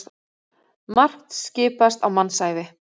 Margt skipast á mannsævi.